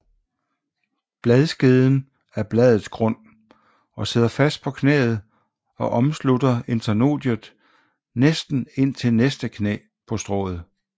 Bladskeden er bladets grund og sidder fast på knæet og omslutter internodiet næsten indtil næste knæ på strået